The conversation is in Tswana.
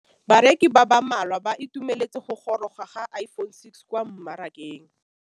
Bareki ba ba malwa ba ituemeletse go gôrôga ga Iphone6 kwa mmarakeng.